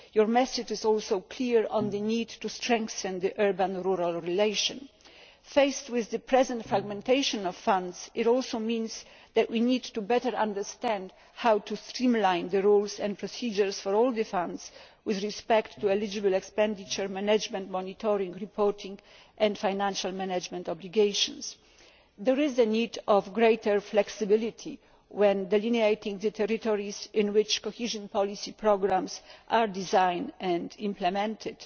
Your message is also clear on the need to strengthen the urban rural relationship. Faced with the present fragmentation of funds, it also means that we need to understand better how to streamline the rules and procedures for all the funds with respect to eligible expenditure, management, monitoring, reporting and financial management obligations. There is a need for greater flexibility when delineating the territories in which cohesion policy programmes are designed and implemented.